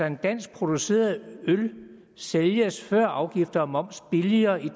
en dansk produceret øl sælges før afgifter og moms billigere i